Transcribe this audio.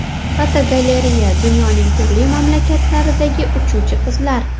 Fotogalereya: Dunyoning turli mamlakatlaridagi uchuvchi qizlar.